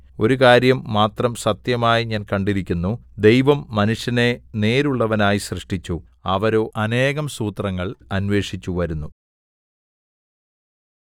ഒരു കാര്യം മാത്രം സത്യമായി ഞാൻ കണ്ടിരിക്കുന്നു ദൈവം മനുഷ്യനെ നേരുള്ളവനായി സൃഷ്ടിച്ചു അവരോ അനേകം സൂത്രങ്ങൾ അന്വേഷിച്ചു വരുന്നു